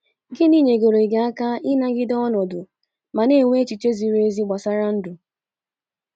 Gịnị nyegoro gị aka ịnagide ọnọdụ ma na - enwe echiche ziri ezi gbasara ndụ? ”